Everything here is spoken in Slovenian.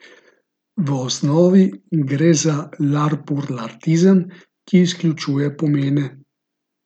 V osnovi gre za larpurlartizem, ki izključuje pomene.